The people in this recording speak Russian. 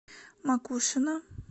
макушино